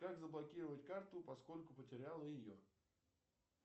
как заблокировать карту поскольку потерял ее